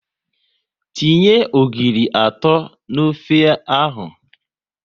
Tinye ogiri atọ n'ofe ahụ!